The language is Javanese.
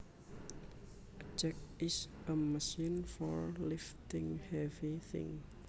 A jack is a machine for lifting heavy thing